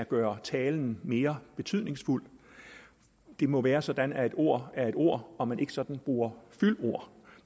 gøre talen mere betydningsfuld det må være sådan at et ord er et ord og at man ikke sådan bruger fyldord